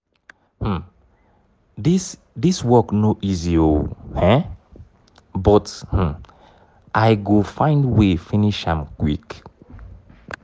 um dis dis work no easy o um but um i go find way finish am quick.